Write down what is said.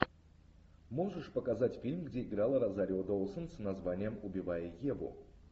можешь показать фильм где играла розарио доусон с названием убивая еву